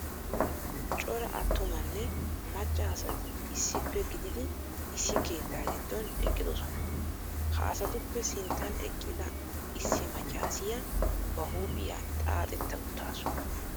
Cora attumanne macca asati issippe gididi issi keettaa giddon eqqidosona. Ha asatuppe sinttan eqqida issi maccassiya ba huuphiya xaaxetta uttaasu,